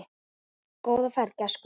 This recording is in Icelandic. Góða ferð, gæskur.